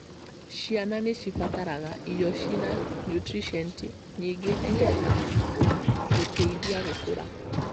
Ciana nĩ cibataraga irio cĩĩna niutrienti nyingĩ nĩ getha gũteithia gũkũra.